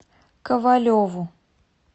ковалеву